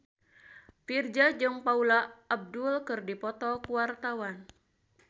Virzha jeung Paula Abdul keur dipoto ku wartawan